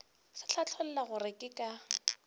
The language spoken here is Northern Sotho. se hlatholla gore ke ka